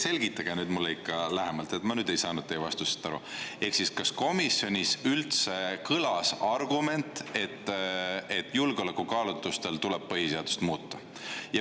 Selgitage mulle ikka lähemalt – ma ei saanud teie vastusest aru –, kas komisjonis üldse kõlas argument, et julgeolekukaalutlustel tuleb põhiseadust muuta.